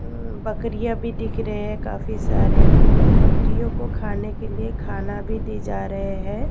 अं बकरियां भी दिख रहे हैं काफी सारे बकरियों को खाने के लिए खाना भी दी जा रहे हैं।